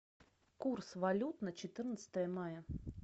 курс валют на четырнадцатое мая